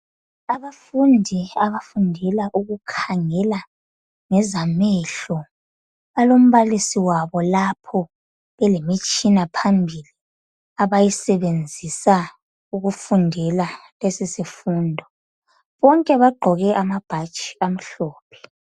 Abafundi abafundela ukukhangela ngezamehlo, balombalisi wabo lapho. Belemitshina phambili, abayisebenzisa, ukufundela lesisifundo. Bonke bagqoke amabhatshi amhlophe.